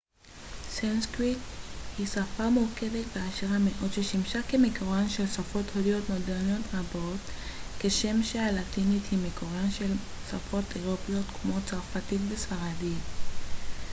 סנסקריט היא שפה מורכבת ועשירה מאוד ששימשה כמקורן של שפות הודיות מודרניות רבות כשם שהלטינית היא מקורן של שפות אירופאיות כמו צרפתית וספרדית